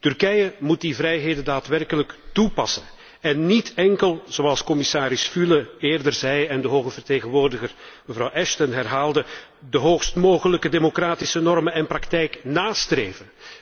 Turkije moet die vrijheden daadwerkelijk toepassen en niet enkel zoals commissaris Füle eerder zei en de hoge vertegenwoordiger, mevrouw Ashton, herhaalde de hoogst mogelijke democratische normen en praktijk nástreven.